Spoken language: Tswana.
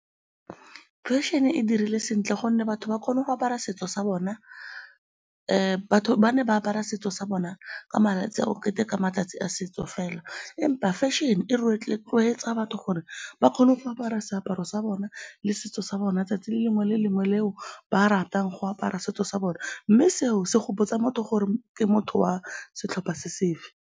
Fashion-e e dirile sentle gonne batho ba kgone go apara setso sa bona. Batho ba ne ba apara setso sa bona ka malatsi a go keteka matsatsi a setso fela empa fashion-e e batho gore ba kgone go apara seaparo sa bona le setso sa bona 'tsatsi le lengwe le lengwe le eo ba ratang go apara setso sa bona mme seo se gopotsa motho gore ke motho wa setlhopha se sefe.